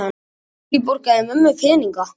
Fólkið borgaði mömmu peninga!